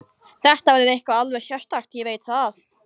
Þetta verður eitthvað alveg sérstakt, ég veit það.